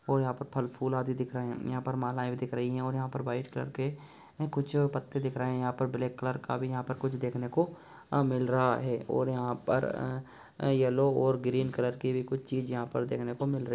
और यहां पर फल-फूल आदि दिख रहे हैं और यहां पर मालाये भी दिख रही है और वाइट कलर के कुछ पत्ते दिख रहे यहां पर ब्लैक कलर कभी कुछ देखने को मिल रहा है और यहां पर येलो और ग्रीन कलर का भी कुछ चीज देखने को मिल रहा है।